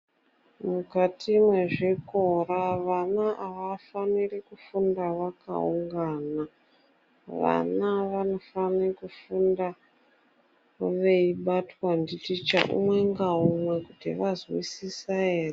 Mukati mwezvikora, vana avafaniri kufunda vakaungana. Vana vanofane kufunda veibatwa nditicha umwe ngaumwe kuti vazwisisa ere.